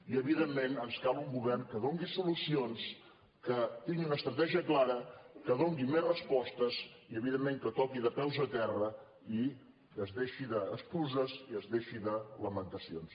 i evidentment ens cal un govern que doni solucions que tingui una estratègia clara que doni més respostes i evidentment que toqui de peus a terra i que es deixi d’excuses i es deixi de lamentacions